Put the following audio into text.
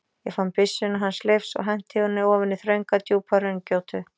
Ég fann byssuna hans Leifs og henti henni ofan í þrönga djúpa hraungjótu.